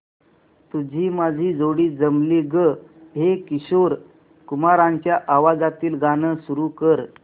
तुझी माझी जोडी जमली गं हे किशोर कुमारांच्या आवाजातील गाणं सुरू कर